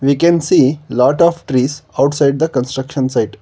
We can see lot of trees outside the construction site.